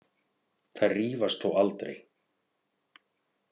Þær rífast þó aldrei.